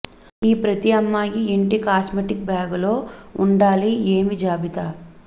ఈ ప్రతి అమ్మాయి ఇంటి కాస్మెటిక్ బ్యాగ్ లో ఉండాలి ఏమి జాబితా